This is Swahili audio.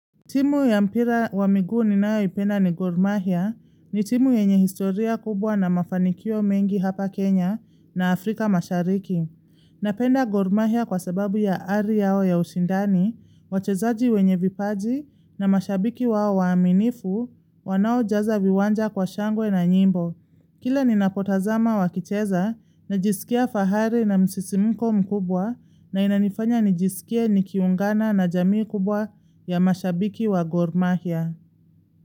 Timu ya mpira wa miguu ninayoipenda ni Gormahia ni timu yenye historia kubwa na mafanikio mengi hapa Kenya na Afrika mashariki. Napenda Gormahia kwa sababu ya ari yao ya ushindani, wachezaji wenye vipaji na mashabiki wao waaminifu, wanaojaza viwanja kwa shangwe na nyimbo. Kila ni napotazama wakicheza na jisikia fahari na msisimuko mkubwa nainanifanya nijisikia nikiungana na jamii kubwa ya mashabiki wa gormahia.